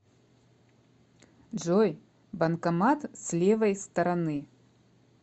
джой банкомат с левой стороны